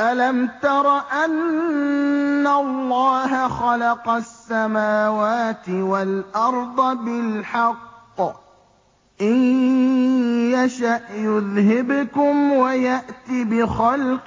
أَلَمْ تَرَ أَنَّ اللَّهَ خَلَقَ السَّمَاوَاتِ وَالْأَرْضَ بِالْحَقِّ ۚ إِن يَشَأْ يُذْهِبْكُمْ وَيَأْتِ بِخَلْقٍ